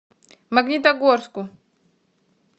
магнитогорску